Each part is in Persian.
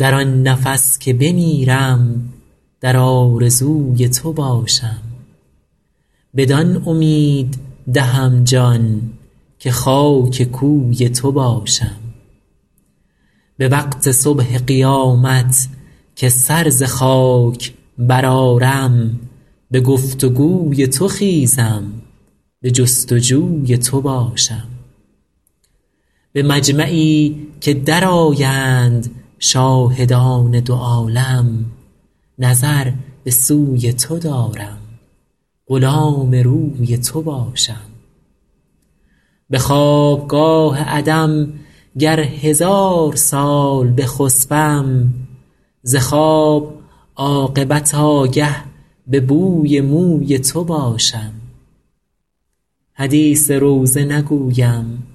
در آن نفس که بمیرم در آرزوی تو باشم بدان امید دهم جان که خاک کوی تو باشم به وقت صبح قیامت که سر ز خاک برآرم به گفت و گوی تو خیزم به جست و جوی تو باشم به مجمعی که درآیند شاهدان دو عالم نظر به سوی تو دارم غلام روی تو باشم به خوابگاه عدم گر هزار سال بخسبم ز خواب عاقبت آگه به بوی موی تو باشم حدیث روضه نگویم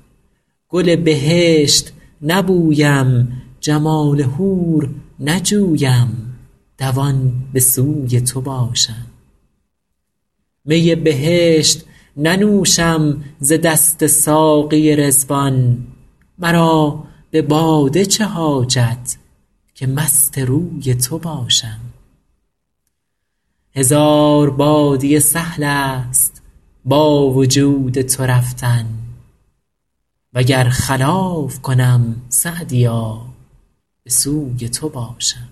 گل بهشت نبویم جمال حور نجویم دوان به سوی تو باشم می بهشت ننوشم ز دست ساقی رضوان مرا به باده چه حاجت که مست روی تو باشم هزار بادیه سهل است با وجود تو رفتن و گر خلاف کنم سعدیا به سوی تو باشم